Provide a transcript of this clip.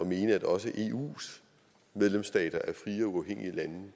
mene at også eus medlemsstater er frie og uafhængige lande